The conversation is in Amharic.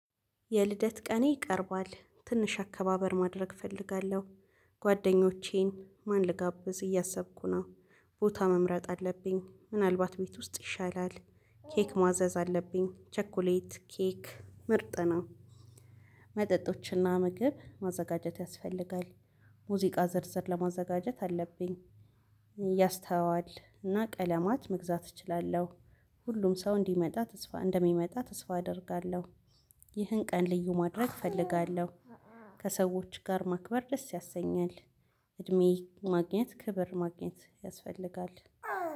የልደት ቀኔ ቀርቧል ትንሽ አከባበር ማድረግ እፈልጋለሁ ጓደኞቼን ማን ልጋብዝ እያሰብኩ ነው። ቦታ መምረጥ አለብኝ ምናልባት ቤት ውስጥ ይሻላል ኬክ ማዘዝ አለብኝ ቸኮሌት ኬክ ምርጥ ነው። መጠጦችና ምግብ ማዘጋጀት ያስፈልጋል። ሙዚቃ ዝርዝር ለ ማዘጋጀት አለብኝ። ያስተዋል እና ቀለማት መግዛት እችላለሁ። ሁሉም ሰው እንዲመጣ ተስፋ እንደሚመጣ ተስፋ አደርጋለሁ። ይህን ቀን ልዩ ማድረግ እፈልጋለሁ። ከሰዎች ጋር ማክበር ደስ ያሰኛል። እድሜ ማግኘት ክብር ማግኘት ያስፈልጋል።